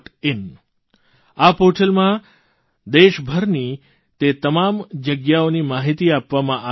in આ પોર્ટલમાં દેશભરની તે તમામ જગ્યાઓની માહીતી આપવામાં આવી છે